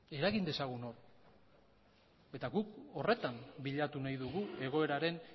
eragin dezagun hor eta guk horretan bilatu nahi dugu egoeraren